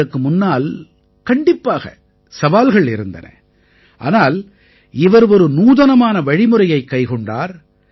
இவருக்கு முன்னால் கண்டிப்பாக சவால்கள் இருந்தன ஆனால் இவர் ஒரு நூதனமான வழிமுறையைக் கைக்கொண்டார்